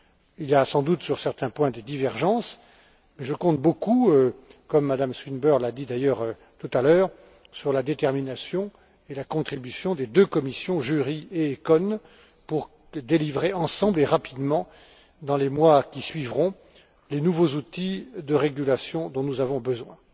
Il y a sans doute des divergences sur certains points et je compte beaucoup comme Mme Swinburne l'a d'ailleurs dit tout à l'heure sur la détermination et la contribution des deux commissions JURI et ECON pour élaborer, ensemble et rapidement, dans les mois qui suivront, les nouveaux outils de régulation dont nous avons besoin.